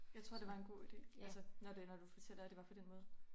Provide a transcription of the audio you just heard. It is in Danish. Jeg tror det var en god idé altså når det når du fortæller at det var på den måde